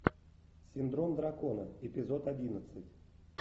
синдром дракона эпизод одиннадцать